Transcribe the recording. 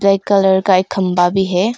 Black colour का एक खंभा भी है।